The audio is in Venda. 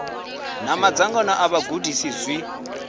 na madzangano a vhagudisi zwi